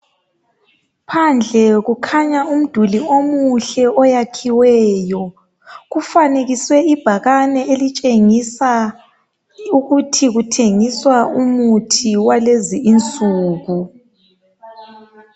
Phandle kukhanya umduli omuhle oyakhiweyo. Kufanekiswe ibhakani elitshengisa ukuthi kuthengiswa umuthi walezi insuku.